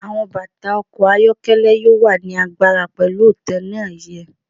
Awọn bata ọkọ ayọkẹlẹ yoo wa ni agbara pẹlu itanna iÿë